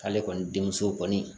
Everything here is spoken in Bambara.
K'ale kɔni denmuso kɔni